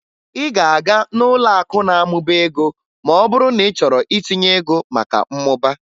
Ị ga-aga n'ụlọakụ na-amụba ego ma ọ bụrụ na ị chọrọ itinye ego maka mmụba